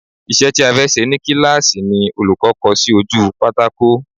Isẹ́ ti a fẹ́ ṣe ni kíláàsì ni olùkọ́ kọ sí ojú pátákò